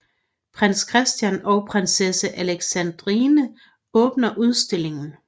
Prins Christian og prinsesse Alexandrine åbner udstillingen